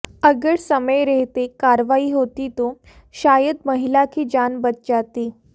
अगर समय रहते कार्रवाई होती तो शायद महिला की जान बच जाती